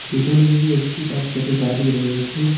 পিছনদিকে একটি চারচাকা গাড়ি রয়েছে।